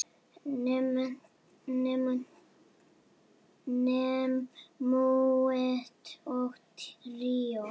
Menúett og tríó